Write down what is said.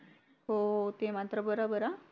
हो हो ते मान तर बोरोबर आ